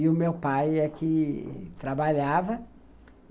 E o meu pai é que trabalhava.